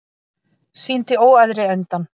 Sýndi óæðri endann